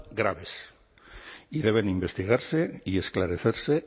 graves y deben investigarse y esclarecerse